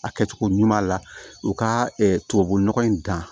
A kɛcogo ɲuman la u ka tubabunɔgɔ in dan